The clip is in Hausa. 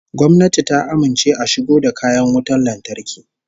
Gwamnati ta amince a shigo da kayan wutan lantarki